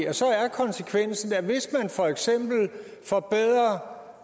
konsekvensen er at hvis man for eksempel forbedrer